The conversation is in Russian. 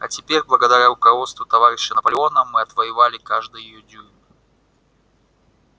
а теперь благодаря руководству товарища наполеона мы отвоевали каждый её дюйм